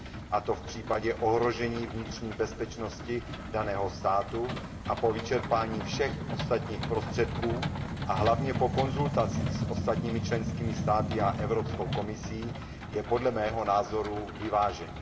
a to v případě ohrožení vnitřní bezpečnosti daného státu a po vyčerpání všech ostatních prostředků, a hlavně po konzultacích s ostatními členskými státy a Evropskou komisí, je podle mého názoru vyvážený.